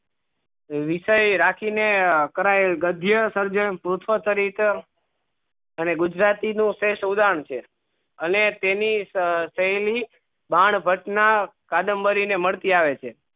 વિષય રાખી ને કરાયેલ ગધ્ય સર્જન અને ગુજરાતી નું છે છે અને તેની સહેલી બાન વચના કાદમ્બરી ને મળતી આવે છે